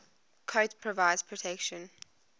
coat provides protection